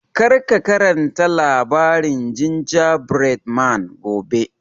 Kar ka karanta labarin Gingerbread man gobe!